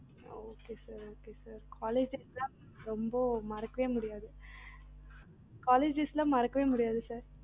colleges ரொம்ப மறக்கவே முடியாது sir college days மறக்கவே முடியாது sir